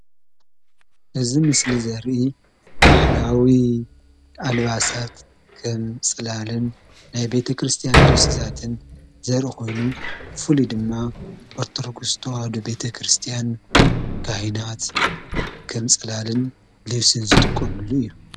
እዚ ምስሊ ዘርኢ ባህላዊ አልባሳት ከም ፅላልን ናይ ቤተ ክርስትያን ልብሲታትን ዘርኢ ኮይኑ፤ ብፍሉይ ድማ ኦርቶዶክስ ተዋህዶ ቤተክርስትያን ካህናት ከም ፅላልን ልብሲን ዝጥቀምሉ እዩ፡፡